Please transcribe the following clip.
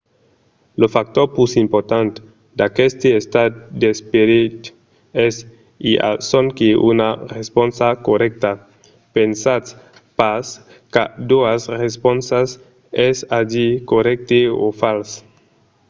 lo factor pus important d'aqueste estat d'esperit es: i a sonque una responsa corrècta. pensatz pas qu'a doas responsas es a dire corrècte o fals